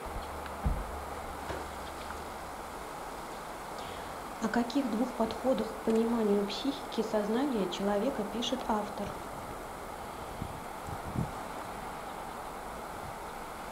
о каких двух подходах к пониманию психики сознания человека пишет автор